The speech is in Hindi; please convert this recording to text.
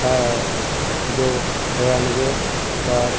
अअअ जो रनवे पर --